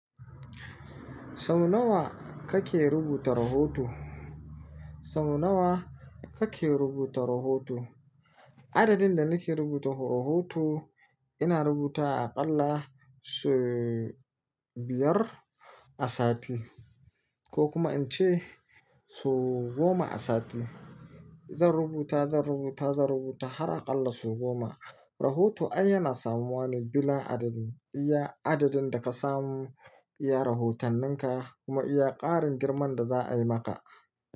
Sau nawa kake rubuta rahoto? Sau nawa kake rubuta rahoto? Adadin da nake rubuta rahoto, ina rubuta aƙalla sau biyar a sati ko kuma in ce sau goma a sati. Zan rubuta, zan rubuta, zan rubuta har aƙalla sau goma. Rahotan yana samuwane bila adadin. Iya adadin da ka samu iya rahotanninka kuma iya ƙarin girman da za'a'i maka.